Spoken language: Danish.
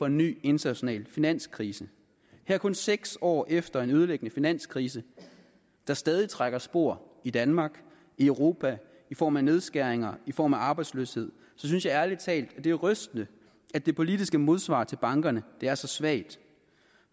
en ny international finanskrise kun seks år efter en ødelæggende finanskrise der stadig trækker spor i danmark i europa i form af nedskæringer i form af arbejdsløshed så synes jeg ærlig talt det er rystende at det politiske modsvar til bankerne er så svagt